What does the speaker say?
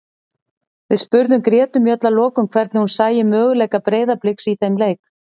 Við spurðum Gretu Mjöll að lokum hvernig hún sæi möguleika Breiðabliks í þeim leik.